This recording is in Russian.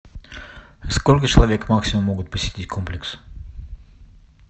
сколько человек максимум могут посетить комплекс